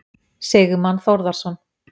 Sigmann Þórðarson.